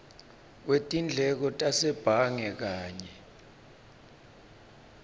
wetindleko tasebhange kanye